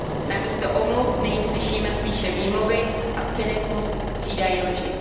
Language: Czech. Namísto omluv nyní slyšíme spíše výmluvy a cynismus střídají lži.